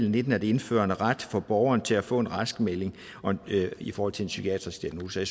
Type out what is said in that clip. og nitten at indføre en ret for borgeren til at få en raskmelding i forhold til en psykiatrisk diagnose